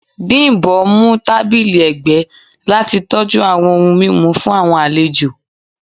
Bimbo mu tabili ẹgbẹ lati tọju awọn ohun mimu fun awọn alejo